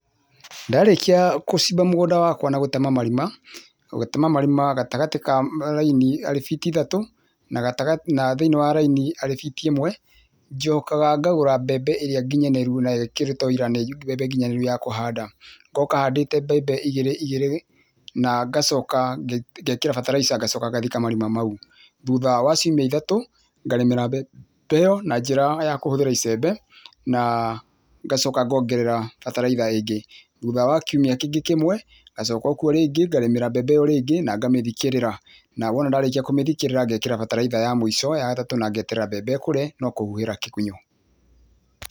Ndarĩkia gũcimba mũgũnda wakwa na gũtema marima, gũtema marima gatagatĩ ka raini arĩ biti ithatũ na gatagatĩ, thĩinĩ wa raini arĩ biti ĩmwe. Njokaga ngagũra mbembe ĩrĩa nginyanĩru na ĩkĩrĩtwo wũira nĩ mbembe nginyanĩru ya kũhanda. Ngoka handĩtĩte mbembe igĩrĩ igĩrĩ na ngacoka ngekĩra bataraitha ngacoka ngathika marima mau. Thutha wa ciumia ithatũ ngarĩmĩra mbembe ĩyo na njĩra kũhũthĩra icembe na ngacoka ngorera bataraitha ĩngĩ. Thutha wa kiumia kĩngĩ kĩmwe ngacoka kuo o rĩngĩ, ngarĩmĩra mbembe ĩyo rĩngĩ na ngamĩthikĩrĩra, na wona ndarĩkia kũmĩthikĩrĩra ngekĩra bataraitha ya mũico ya gatatũ na ngeterera ĩkũre na kũhuhĩra kĩgunyũ.